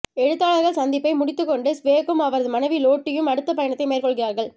எழுத்தாளர்கள் சந்திப்பை முடித்துக் கொண்டு ஸ்வேக்கும் அவரது மனைவி லோட்டியும் அடுத்தப் பயணத்தை மேற்கொள்கிறார்கள்